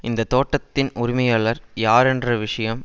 இந்த தோட்டத்தின் உரிமையாளர் யார் என்ற விஷயம்